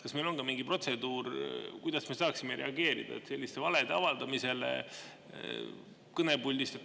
Kas meil on mingi protseduur, kuidas me saaksime reageerida selliste valede avaldamisele kõnepuldist?